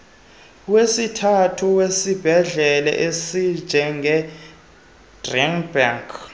wesithathu wezibhedlele ezinjengetygerberg